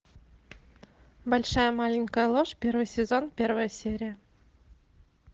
большая маленькая ложь первый сезон первая серия